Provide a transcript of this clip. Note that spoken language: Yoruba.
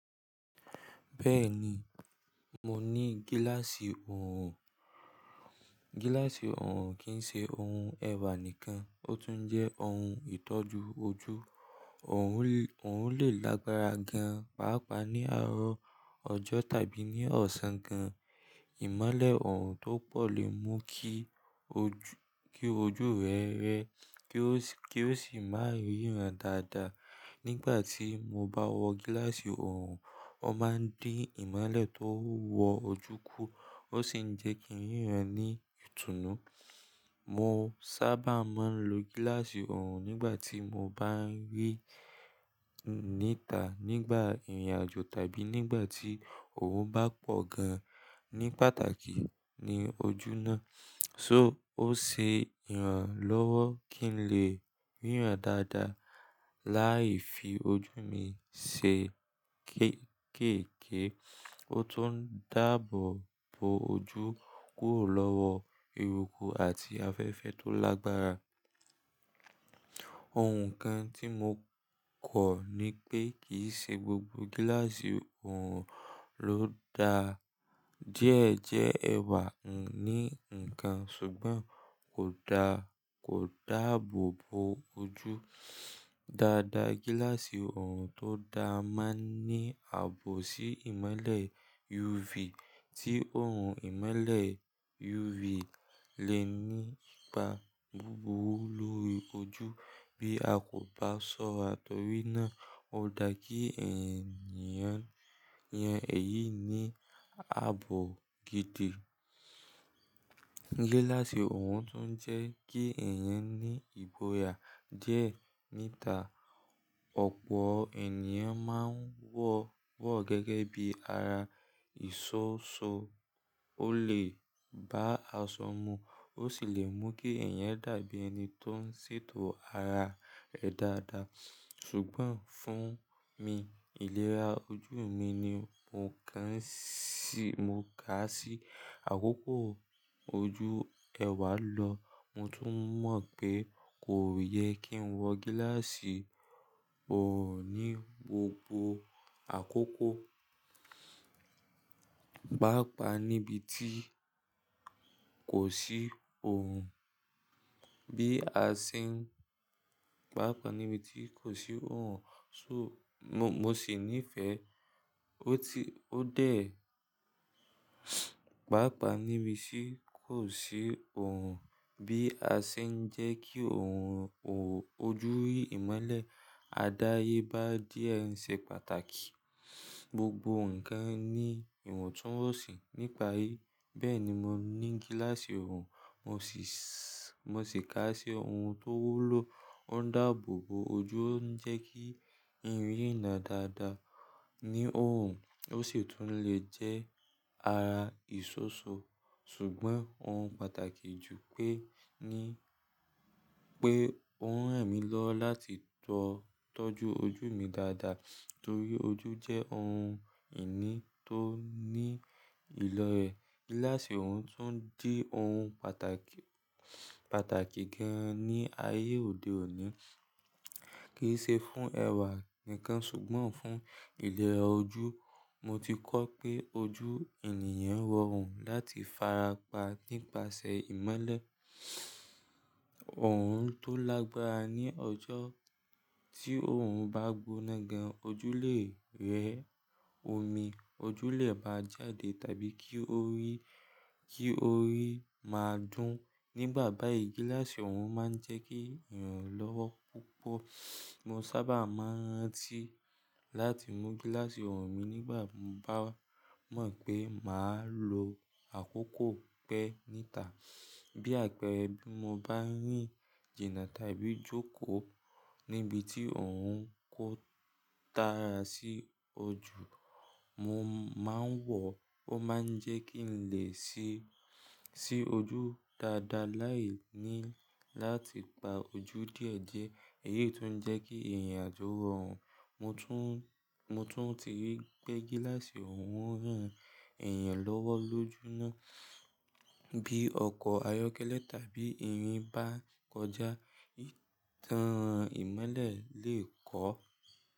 Bẹ́ẹ̀ni, mo ní gíláàsì ọrùn. Gíláàsì ọrùn kì ń ṣe ohun ẹ̀wà nìkan, ó tún jẹ́ ohun ìtọ́jú ojú. Òrun lè lágbára gan-an, pàápàá ní àárọ̀ ọjọ́ tàbí ní ọ̀sán gan. Ìmọ́lẹ̀ ọrùn tó pọ̀ lè mú kí ojú rẹ rẹ, kí ó sì má ríran dáadáa. Nígbà tí mo bá wọ gíláàsì ọrùn, ó máa ń dín ìmọ́lẹ̀ tó wọ ojú kù, ó sì ń jẹ́ kí ń ríran ní ìtùnú. Mo sábà máa ń lo gíláàsì ọrùn nígbà tí mo bá ń rì níta, nígbà ìrìnàjò tàbí nígbà tí òòrùn bá pọ̀ gan-an ní pàtàkì ní ojú náà. So ó ṣe ìrànlọ́wọ́ kí n lè ríran dáadáa láì fi ojú mi ṣe kéékèèke. Ó tún ń dáàbò bo ojú kúrò lọ́wọ́ eruku àti afẹ́fẹ́ tó lágbára. Ohun kan tí mo kọ̀ ni pé kì í ṣe gbogbo gíláàsì ọrùn ló da díẹ̀ jẹ ẹ̀wà. Ǹní nǹkan ṣùgbọ́n kò dáàbòbo ojú dáadáa. Gíláàsì ọrùn tó dáa máa ń ní ààbò sí ìmọ́lẹ̀ UV tí òòrùn ìmọ́lẹ̀ UV lè ní ipa búburú lórí ojú bí a kò bá sọ́ra torí náà ó da kí ẹ̀yàn yẹn èyí ní ààbò gidi. Gíláàsì ọrùn tún jẹ́ kí ẹ̀yàn ní ìgbò ya díẹ̀ níta. Ọ̀pọ̀ ènìyàn máa ń wọ ọ́ gẹ́gẹ́ bí ara ìṣọ́ṣo. Ó lè bá aṣọmu, ó sì lè mú kí ẹ̀yàn dàbí ẹni tó ń ṣètò ara rẹ̀ dáadáa. Ṣùgbọ́n fún mi, ìlera ojú mi ni mo kà á sí àkókò ojú ẹwà lọ. Mo tún mọ̀ pé kò yẹ kí n wọ gíláàsì ọrùn ní gbogbo àkókò, pàápàá níbi tí kò sì orun bí a se n pàápàá níbi tí kò sì ọrùn sọ mo sí nife ọrùn bí a ṣe ń jẹ́ kí orun ojú rí ìmọ́lẹ̀ àdáyébá díẹ̀ ṣe pàtàkì. Gbogbo nǹkan ní ìwọ̀ntúnwọ̀nsì ní pari Bẹ́ẹ̀ ni mo ní gíláàsì ọrùn, mo sì kà á sí ohun tó wúlò. Ó ń dáàbò bo ojú, ó ń jẹ́ kí n rí na dáadáa ní ọrùn, ó sì tún lè jẹ́ ara ìṣọ́ṣo. Ṣùgbọ́n ohun pàtàkì jù pé ní pé ó ń ran mí lọwo láti tọ́jú ojú mi dáadáa torí ojú jẹ́ ohun ìní tó ní ìlọ́rẹ. Gíláàsì ọrùn tún di ohun pàtàkì gan-an ní ayé òde òní, kì í ṣe fún ẹ̀wà nìkan ṣùgbọ́n fún ìlera ojú. Mo ti kọ́ pé ojú ènìyàn rọrùn láti fara pa nípasẹ̀ ìmọ́lẹ̀ ọrùn tó lágbára ní ọjọ́. Tí òòrùn bá gbona gan, ojú lè rẹ omi, ojú lè bá jáde tàbí kí orí máa dún. Nígbà bá yìí gíláàsì ọrùn máa ń jẹ́ kí ìrànlọ́wọ́ púpọ̀. Mo sábà máa ń rántí láti mú gíláàsì ọrùn mi nígbà mo bá mọ̀ pé màá lo àkókò pẹ́ níta. Bí àpẹẹrẹ bí mo bá ń rìn jìnà tàbí jókòó níbi tí òrùn kò tara sí ojú, mo máa ń wọ ọ́. Ó máa ń jẹ́ kí n lè si ojú dáadáa láì ní láti pa ojú díẹ̀diẹ. Èyí tún ń jẹ́ kí ìrìnàjò rọrùn mo tun. Mo tún ti rí pé gíláàsì ọrùn ràn èèyàn lọ́wọ́ lójúmọ́. Bí ọkọ̀ ayọ́kẹ́lẹ́ tàbí ìrìn bá kọjá, ìtàn ìmọ́lẹ̀ lè kọ́.